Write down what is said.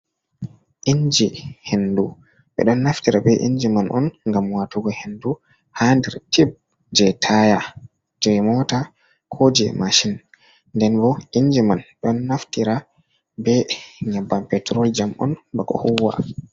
Inji hendu, ɓe ɗon naftira be inji man on ngam watugo hendu ha nder tib je taya je mota, ko je mashin, nden ɓo inji man ɗon naftira be nyabbam petrol jam on bako huwa.